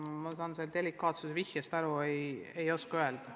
Ma saan sellest delikaatsuse vihjest aru, aga ei oska vastata.